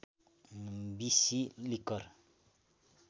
बिसि लिकर